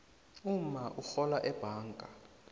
umma urhola ebhanga